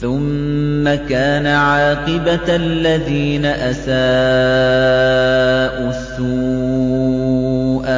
ثُمَّ كَانَ عَاقِبَةَ الَّذِينَ أَسَاءُوا السُّوأَىٰ